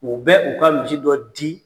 U bɛ u ka misi dɔ di